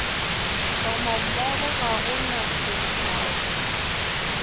tšhomommogo ga go na sekgao